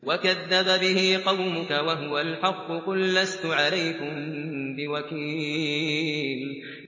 وَكَذَّبَ بِهِ قَوْمُكَ وَهُوَ الْحَقُّ ۚ قُل لَّسْتُ عَلَيْكُم بِوَكِيلٍ